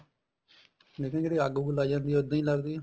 ਦੇਖਿਆ ਜਿਹੜੀ ਅੱਗ ਉੱਗ ਲੱਗ ਜਾਂਦੀ ਆ ਇੱਦਾਂ ਹੀ ਲੱਗਦੀ ਆ